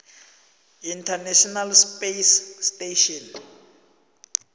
international space station